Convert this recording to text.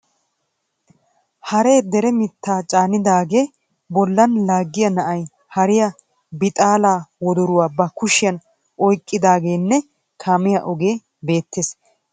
Hare daaree mittaa casnidaagaa bollan laaggiya na"ay hariya bixaalaa wodoruwa ba kushiyan oyikkaagenne kaamiya ogee beettes. Eta guyyessankka pooqe beettes.